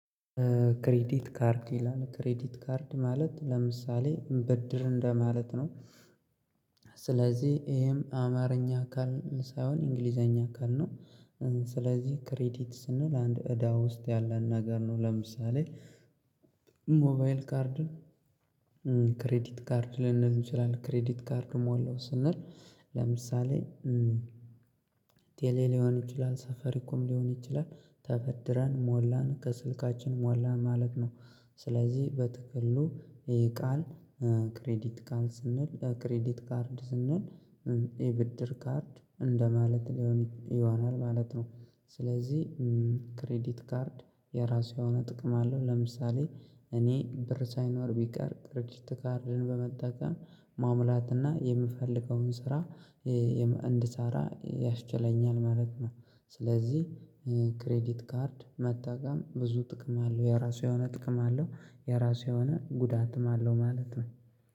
ክሬዲት ካርድ ይላል ክሬዲት ካርድ ማለት ለምሳሌ ብድር እንደማለት ነው። ስለዚህ ይሄም አማርኛ አካል ሳይሆን እንግሊዘኛ አካል ነው። ስለዚህ ክሬዲት ስንል አንድ እዳ ውስጥ ያለን ነገር ነው ለምሳሌ። ሞባይል ካርድን ክሬዲት ካርድ ልንል እንችላለን ክሬዲት ካርድ ሞላው ስንል ለምሳሌ ቴሌ ሊሆን ይችላል ሳፋሪኮም ሊሆን ይችላል ተበድረን ሞላን ከስልካችን ሞላን ማለት ነው። ስለዚህ በጥቅሉ ይሄ ቃል ክሬዲት ቃል ስንል ክሬዲት ካርድ ስንል የብድር ካርድ እንደማለት ሊሆን ይሆናል ማለት ነው። ስለዚህ ክሬዲት ካርድ የራሱ የሆነ ጥቅም አለው ለምሳሌ እኔ ብር ሳይኖረኝ ቢቀር ክሬዲት ካርድን በመጠቀም መሙላት እና የምፈልገውን ስራ እንድሰራ ያስችለኛል ማለት ነው። ስለዚህ ክሬዲት ካርድ መጠቀም ብዙ ጥቅም አለው የራሱ የሆነ ጥቅም አለው የራሱ የሆነ ጉዳትም አለው ማለት ነው